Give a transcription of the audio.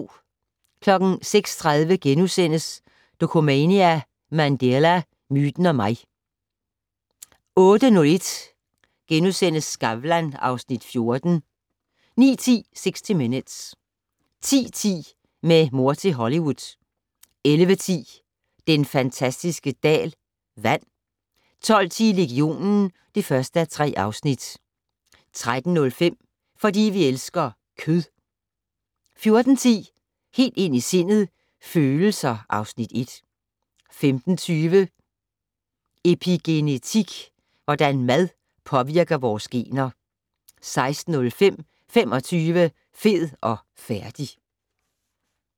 06:30: Dokumania: Mandela - myten og mig * 08:01: Skavlan (Afs. 14)* 09:10: 60 Minutes 10:10: Med mor til Hollywood 11:10: Den fantastiske dal - vand 12:10: Legionen (1:3) 13:05: Fordi vi elsker kød. 14:10: Helt ind i sindet: Følelser (Afs. 1) 15:20: Epigenetik - hvordan mad påvirker vores gener 16:05: 25, fed og færdig!